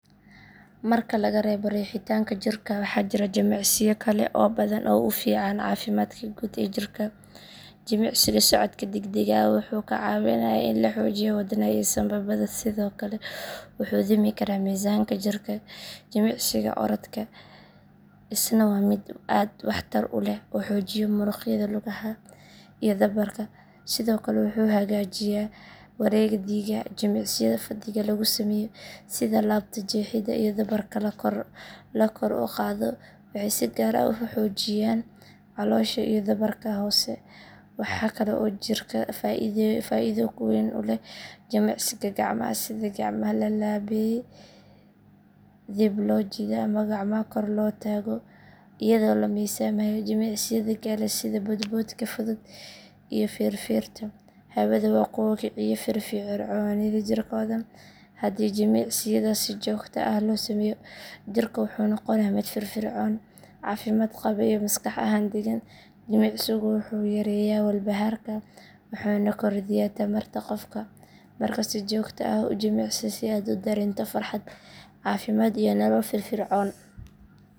Marka laga reebo riixitaanka jirka waxaa jira jimicsiyo kale oo badan oo u fiican caafimaadka guud ee jirka. Jimicsiga socodka degdega ah wuxuu kaa caawinayaa in la xoojiyo wadnaha iyo sambabada sidoo kale wuxuu dhimi karaa miisaanka jirka. Jimicsiga orodka isna waa mid aad waxtar u leh oo xoojiya muruqyada lugaha iyo dhabarka sidoo kale wuxuu hagaajiyaa wareegga dhiigga. Jimicsiyada fadhiga lagu sameeyo sida laabto jeexidda iyo dhabarka la kor u qaado waxay si gaar ah u xoojiyaan caloosha iyo dhabarka hoose. Waxaa kale oo jirka faa’iido weyn u leh jimicsiga gacmaha sida gacmaha la laabayee dib loo jiido ama gacmaha kor loo taago iyadoo la miisaamayo. Jimicsiyada kale sida boodboodka fudud iyo feerfeerta hawada waa kuwo kiciya firfircoonida jirka oo dhan. Haddii jimicsiyadaasi si joogto ah loo sameeyo, jirka wuxuu noqonayaa mid firfircoon, caafimaad qaba, iyo maskax ahaan degan. Jimicsigu wuxuu yareeyaa walbahaarka wuxuuna kordhiyaa tamarta qofka. Marka si joogto ah u jimicsi si aad u dareento farxad, caafimaad iyo nolol firfircoon.